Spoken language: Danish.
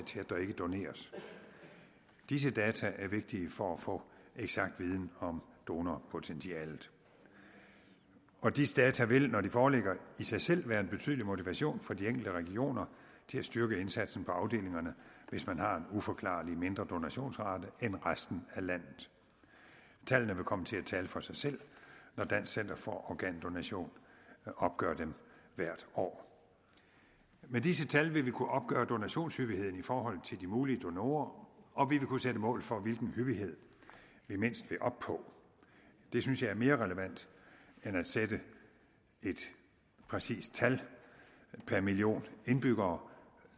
til at der ikke doneres disse data er vigtige for at få eksakt viden om donorpotentialet og disse data vil når de foreligger i sig selv være en betydelig motivation for de enkelte regioner til at styrke indsatsen på afdelingerne hvis man har en uforklarlig mindre donationsrate end resten af landet tallene vil komme til at tale for sig selv når dansk center for organdonation opgør dem hvert år med disse tal vil vi kunne opgøre donationshyppigheden i forhold til de mulige donorer og vi vil kunne sætte mål for hvilken hyppighed vi mindst vil nå op på det synes jeg er mere relevant end at sætte et præcist tal per million indbyggere